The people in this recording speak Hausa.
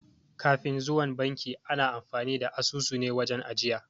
Kafin zuwan banki ana amfani da asusune wajen ajiya